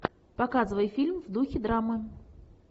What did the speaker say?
показывай фильм в духе драмы